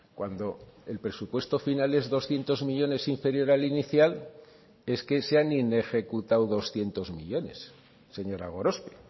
cuando el presupuesto final es doscientos millónes inferior al inicial es que se han inejecutado doscientos millónes señora gorospe